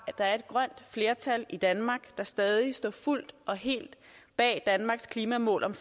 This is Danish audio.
er et grønt flertal i danmark der stadig står fuldt og helt bag danmarks klimamål om